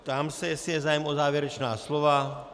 Ptám se, jestli je zájem o závěrečná slova.